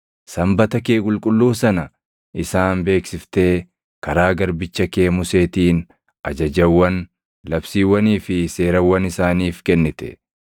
Sanbata kee qulqulluu sana isaan beeksiftee karaa garbicha kee Museetiin ajajawwan, labsiiwwanii fi seerawwan isaaniif kennite.